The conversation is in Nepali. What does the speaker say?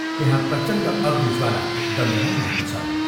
त्यहाँ प्रचण्ड अग्निज्वाला दन्दनाइरहेको छ।